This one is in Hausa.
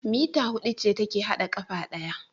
Meter hudu ce take hada kafa daya